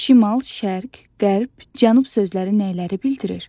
Şimal, şərq, qərb, cənub sözləri nəyləri bildirir?